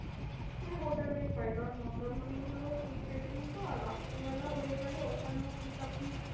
আমি hotel এই খাই কারণ মন্দারমণি গুলো sea facing তো আর রাত্রি বেলা হয়ে গেলে ওখানেও ঠিক আপনি